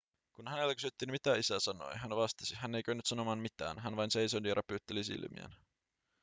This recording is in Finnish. kun häneltä kysyttiin mitä isä sanoi hän vastasi hän ei kyennyt sanomaan mitään hän vain seisoi ja räpytteli silmiään